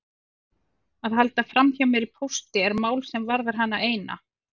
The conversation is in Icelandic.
Að halda framhjá mér í pósti er mál sem varðar hana eina.